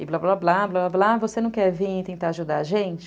E blá, blá, blá, blá, blá, você não quer vir e tentar ajudar a gente?